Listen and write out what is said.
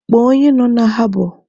Kpọọ onye nọ na habọ!